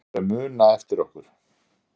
Fólk á eftir að muna eftir okkur